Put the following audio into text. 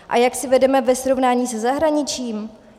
A jak si vedeme ve srovnání se zahraničím?